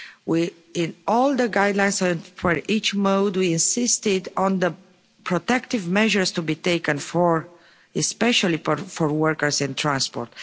We, in all the guidelines we had for each mode, we insisted on the protective measures to be taken, especially for workers in transport.